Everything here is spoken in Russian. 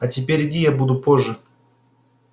а теперь иди я буду позже